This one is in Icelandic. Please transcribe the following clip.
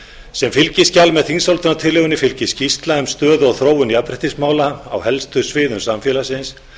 sem fylgiskjal með þingsályktunartillögunni fylgir skýrsla um stöðu og þróun jafnréttismála á helstu sviðum samfélagsins